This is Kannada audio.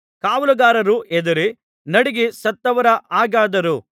ಕಾವಲುಗಾರರು ಹೆದರಿ ನಡುಗಿ ಸತ್ತವರ ಹಾಗಾದರು